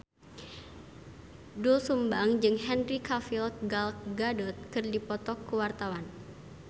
Doel Sumbang jeung Henry Cavill Gal Gadot keur dipoto ku wartawan